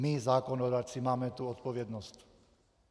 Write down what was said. My zákonodárci máme tu odpovědnost.